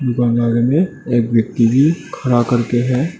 बगल में एक व्यक्ति भी खड़ा करके है।